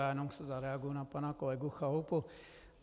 Já jenom zareaguji na pana kolegu Chalupu.